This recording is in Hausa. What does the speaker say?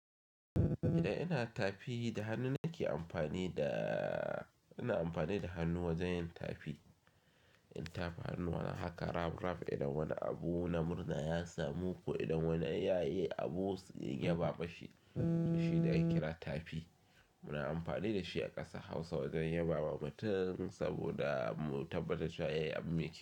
Idan ina tafi da hannu nake amfani da, ina amfani da hannu wajen yin tafi. Yin tafi hannuwa haka rab, rab idan wani abu na murna ya samu ko idan wani ya yi abu ya ba ma shi da shi da ya kira tafi. Muna amfani da shi a ƙasa Hausa wajen yabawa mutum saboda mu tabbatar da cewa ya yi abu mai kyau.